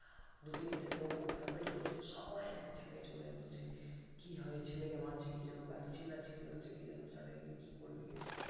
দু তিনটে লোক ওখানে wait করছে সবাই এক জায়গায় চলে এলো যে কি হয়েছে ছেলেকে মারছে কি জন্য এত চিল্লাচিল্লি হচ্ছে কি জন্য suddenly কি করে দিয়েছে